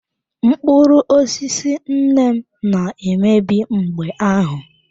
Mkpụrụ osisi nne m na-emebi mgbe ahụ.